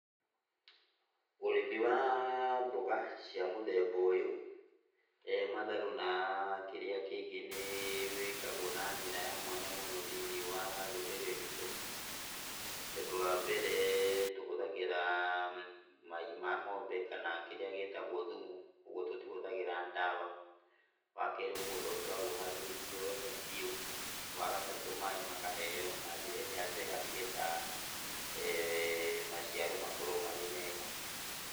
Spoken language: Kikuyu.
Ũrĩmi wa mboga cia mũthemba ũyũ, matharũ na kĩrĩa kĩngĩ nĩwĩkagwo na njĩra ya mwanya mũno thĩiniĩ wa rũrĩrĩ rwitũ, tondũ wa mbere tũhũthagĩra mai ma ng'ombe kana kĩrĩa gĩtagwo thumu, kwogwo tũtihũthagĩra ndawa. Wakerĩ mũgũnda ũkoragwo ũharĩrĩirio wega biũ, wagatatũ maaĩ makaheywo na njĩra ĩrĩa njega nĩgetha maciaro makorwo marĩ mega.